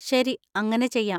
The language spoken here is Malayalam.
ശരി, അങ്ങനെ ചെയ്യാം.